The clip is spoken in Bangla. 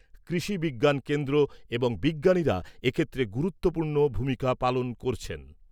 কৃষি বিজ্ঞান কেন্দ্র এবং বিজ্ঞানীরা এক্ষেত্রে গুরুত্বপূর্ণ ভূমিকা পালন করছেন।